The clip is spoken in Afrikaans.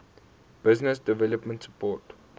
business development support